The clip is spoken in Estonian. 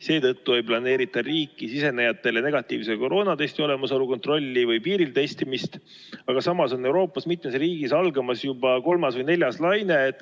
Seetõttu ei planeerita riiki sisenejatel negatiivse koroonatesti olemasolu kontrolli või piiril testimist, aga samas on Euroopas mitmes riigis algamas juba kolmas või neljas laine.